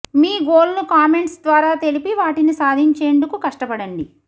మీ గోల్ను కామెంట్స్ ద్వారా తెలిపి వాటిని సాధించేందుకు కష్టపడండి